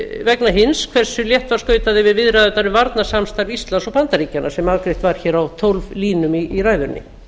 vegna hins hversu létt var skautað yfir viðræðurnar um varnarsamstarf íslands og bandaríkjanna sem afgreitt var á tólf línum í ræðunni